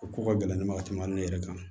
O ko ka gɛlɛn ne ma ka tɛmɛ ne yɛrɛ kan